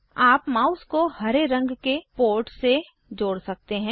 आप माउस को हरे रंग के पोर्ट से जोड़ सकते हैं